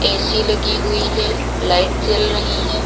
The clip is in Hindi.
ए_सी लगी हुई है लाइट जल रही है।